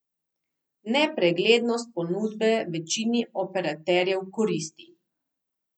Nepreglednost ponudbe večini operaterjev koristi.